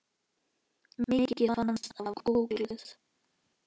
Mikið fannst af kúskel.